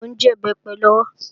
Mò ń jẹ̀bẹ́pẹ lọ́wọ́